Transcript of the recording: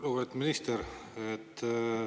Lugupeetud minister!